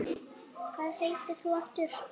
Halli hor hvæsti hann.